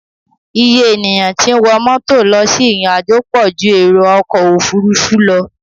Iye ènìyàn tí ń wọ mọ́tò lọ sí ìrìnàjò pọ̀ ju èrò ọkọ̀ òfuurufú lọ.